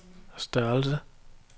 størrelse